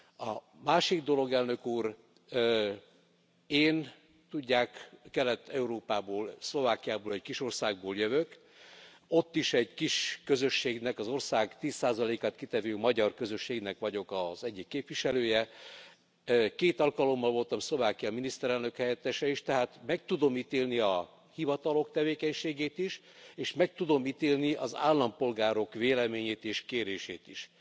A másik dolog, Elnök Úr, én, tudják, Kelet Európából, Szlovákiából, egy kis országból jövök ott is egy kis közösségnek az ország 10 át kitevő magyar közösségnek vagyok az egyik képviselője két alkalommal voltam Szlovákia miniszterelnök helyettese is, tehát meg tudom ítélni a hivatalok tevékenységét is, és meg tudom ítélni az állampolgárok véleményét és kérését is.